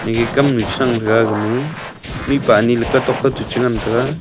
ege kam chuchan aga ma mihpa ani ke tok ku chu ngan taiga.